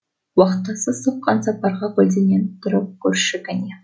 уақтысы соққан сапарға көлденең тұрып көрші кәне